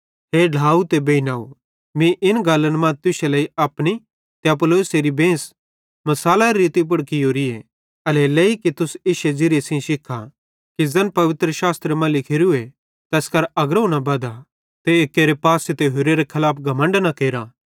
हे ढ्लाव ते बेइनव मीं इन गल्लन मां तुश्शे लेइ अपनी ते अपुल्लोसेरी बेंस मिसालारे रिती पुड़ कियोरीए एल्हेरेलेइ कि तुस इश्शे ज़िरिये सेइं शिखा कि ज़ैन पवित्रशास्त्रे मां लिखोरे करां अग्रोवं न बधा ते एक्केरे पासे ते होरेरे खलाफ घमण्ड न केरथ